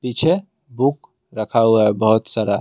पीछे बुक रखा हुआ है बहुत सारा।